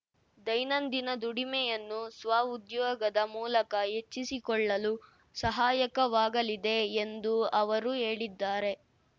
ದೈನಂದಿನ ದುಡಿಮೆಯನ್ನು ಸ್ವಉದ್ಯೋಗದ ಮೂಲಕ ಹೆಚ್ಚಿಸಿಕೊಳ್ಳಲು ಸಹಾಯಕವಾಗಲಿದೆ ಎಂದೂ ಅವರು ಹೇಳಿದ್ದಾರೆ